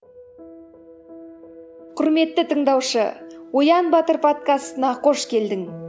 құрметті тыңдаушы оян батыр подкастына қош келдің